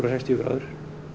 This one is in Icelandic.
sextíu gráður